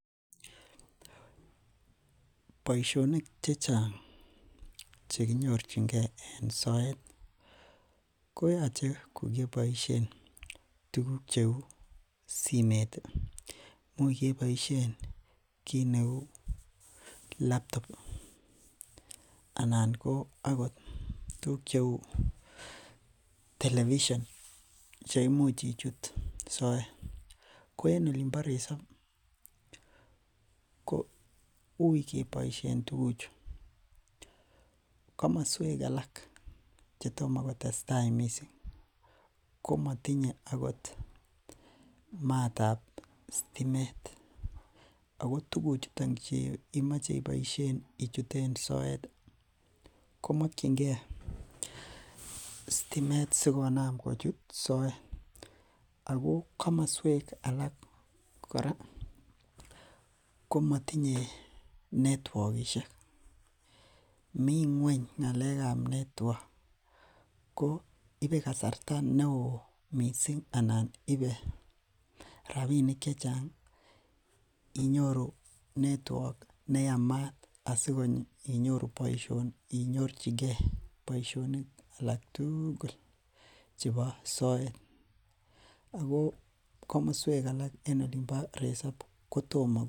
Boisionik chechang chekinyorchinke en soet ih , koyache kokebaisien kouu laptop ih, anan ko tuguk cheuu television cheimuch ichut soet. Ko en olimbo resap kouui keboisien tuguk chu. Kakmasuek alak chetoma ko tesetai missing, komatinye akot matab sitimet. Ako tuguk chuton chekimoche ichuten soet komakienge sitimet sikonaam kochut soet , Ako kakmasuek alak kora komatinye networkishek. Miten ng'uany ng'alekab network koibe kasarta neoo missing anan ibee, rabinik chechang inyoru network neyamaat asinyorchike boisionik alak tugul chebo soet. Ako kakmasuek alak en olimbo resap kotoma .